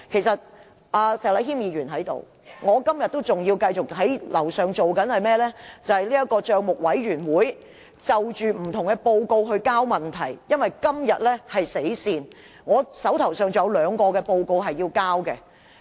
石禮謙議員現時在席，我今天仍要在樓上辦公室處理政府帳目委員會就各份報告提交問題的工作，因為今天是"死線"，我還須就兩份報告提交問題。